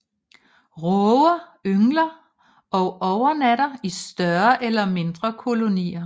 Råger yngler og overnatter i større eller mindre kolonier